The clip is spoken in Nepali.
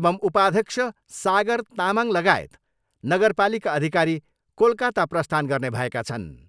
एवम् उपाध्यक्ष सागर तामाङ लगायत नगरपालिका अधिकारी कोलकाता प्रस्थान गर्ने भएका छन्।